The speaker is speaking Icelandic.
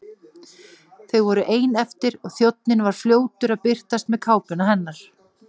Þau voru ein eftir og þjónninn var fljótur að birtast með kápuna hennar.